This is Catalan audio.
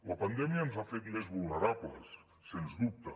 la pandèmia ens ha fet més vulnerables sens dubte